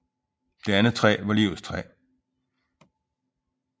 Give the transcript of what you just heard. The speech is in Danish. Det andet træ var livets træ